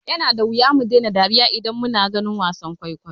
Yana da wuya mu daina dariya idan muna ganin wasan kwaikwayo.